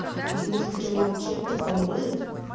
и может быть он нам чем-то поможет